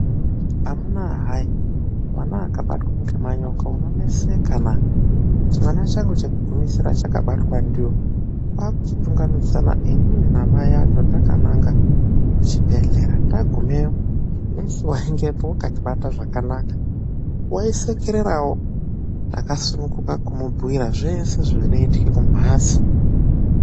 Amuna hai !, mwana akabatwa ngemanyoka unoneseka naaa !, chimwana changu chekugumisira chakabatwa ndiwo. Takachitotungachimidzana inini namai acho takananga kuchibhehleya. Tagumewo nesi waieyo wakatibata zvakanaka , waishekererawo tikasununguka kumubhuira zveshe zvinoitika kumhatso.